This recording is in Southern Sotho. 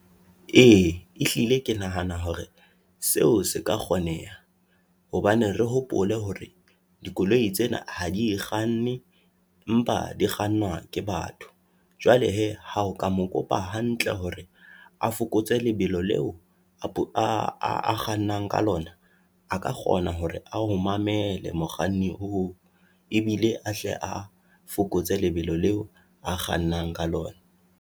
Ee, ehlile ke nahana hore seo se ka kgoneha, hobane re hopole hore dikoloi tsena ha di kganne empa di kgannwa ke batho. Jwale hee, ha o ka mo kopa hantle hore a fokotse lebelo leo a kgannang ka lona, a ka kgona hore ao mamele mokganni oo, Ebile a hle a fokotse lebelo leo a kgannang ka lona.